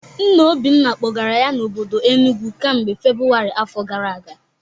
Nna Obinna kpọgara ya n'obodo Enugwu kamgbe Febụwarị afọ gara aga